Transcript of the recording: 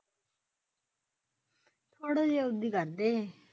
ਥੋੜੇ ਜਹਿਆ ਹੋਲੀ ਕਰਦੇ।